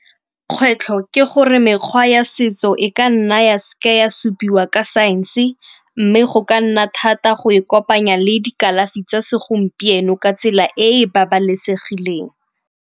Kgwetlho ke gore mekgwa ya setso e ka nna ya se ke ya supiwa ka saense mme go ka nna thata go e kopanya le dikalafi tsa segompieno ka tsela e e babalesegileng.